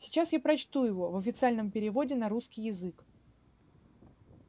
сейчас я прочту его в официальном переводе на русский язык